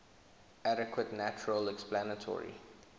adequate natural explanatory